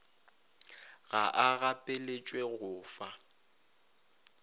ga a gapeletšwe go fa